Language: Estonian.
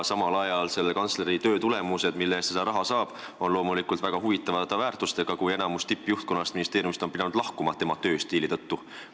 Samal ajal on selle kantsleri töö tulemused, mille eest ta seda raha saab, väga huvitava väärtusega: enamik ministeeriumi tippjuhtkonnast on pidanud tema tööstiili tõttu lahkuma.